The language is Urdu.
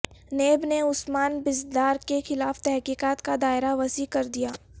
نیب نے عثمان بزدار کیخلاف تحقیقات کا دائرہ وسیع کر دیا